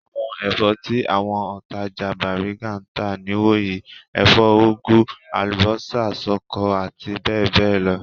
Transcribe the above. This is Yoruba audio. Àwọn ẹ̀fọ́ tí àwọn òǹtajà Bàrígà ń tà nìwọ̀nyí; ẹ̀fọ́ úgú, àlùbọ́sà, ṣọkọ àti bẹ́ẹ̀ bẹ́ẹ̀ lọ.